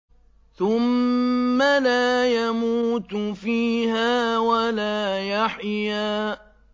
ثُمَّ لَا يَمُوتُ فِيهَا وَلَا يَحْيَىٰ